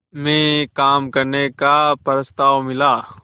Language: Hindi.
में काम करने का प्रस्ताव मिला